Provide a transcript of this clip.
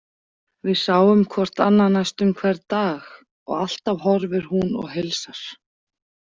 Við sáum hvort annað næstum hvern dag og alltaf horfir hún og heilsar.